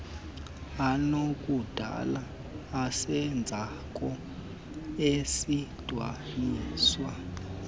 anokudala isenzeko esidweliswe